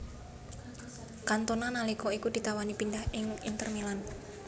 Cantona nalika iku ditawani pindhah ing Inter Milan